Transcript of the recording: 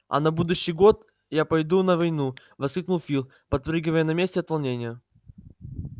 а на будущий год я пойду на войну воскликнул фил подпрыгивая на месте от волнения